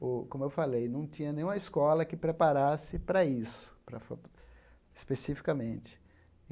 Ô como eu falei, não tinha nenhuma escola que preparasse para isso, para foto especificamente.